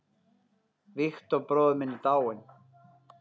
Victor bróðir minn er dáinn.